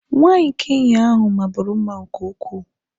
nwanyị Kenya ahu maburu mma nke ukwuu.